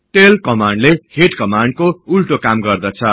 tail कमान्डले head कमान्डको उल्टो काम गर्दछ